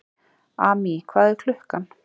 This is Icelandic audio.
Amý, hvað er klukkan?